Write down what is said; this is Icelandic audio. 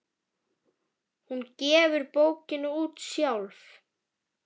Hún gefur bókina út sjálf.